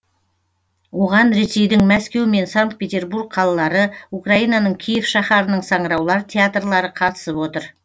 оған ресейдің мәскеу мен санкт петербург қалалары украинаның киев шаһарының саңыраулар театрлары қатысып отыр